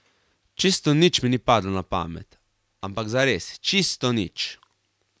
Čisto nič mi ni padlo na pamet, ampak zares čisto nič.